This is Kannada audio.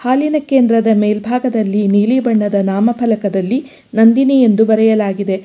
ಹಾಲಿನ ಕೇಂದ್ರದ ಮೇಲ್ಭಾಗದಲ್ಲಿ ನೀಲಿ ಬಣ್ಣದ ನಾಮಪಲಕದಲ್ಲಿ ನಂದಿನಿ ಎಂದು ಬರೆಯಲಾಗಿದೆ.